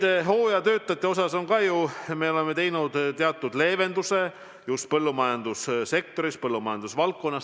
Ja hooajatöötajate osas me oleme ju teinud teatud leevenduse just põllumajandussektoris.